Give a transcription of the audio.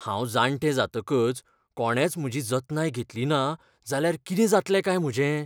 हांव जाणटें जातकच कोणेंच म्हजी जतनाय घेतली ना जाल्यार कितें जातलें काय म्हजें?